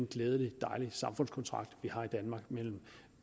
glædelig samfundskontrakt vi har i danmark mellem